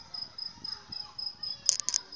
oo ho ne ho le